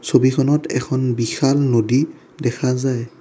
ছবিখনত এখন বিশাল নদী দেখা যায়।